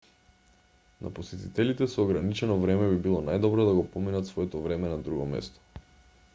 на посетителите со ограничено време би било најдобро да го поминат своето време на друго место